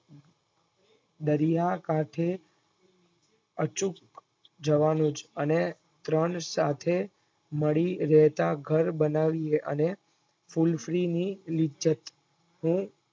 દરિયા કાંઠે અચૂક જવાનું જ અને ત્રણ સાથે મળી રહેતા ઘર બનાવીયે અને Full free ની લીજત હું